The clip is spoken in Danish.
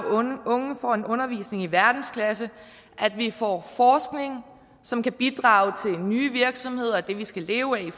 og unge får en undervisning i verdensklasse at vi får forskning som kan bidrage til nye virksomheder det vi skal leve af i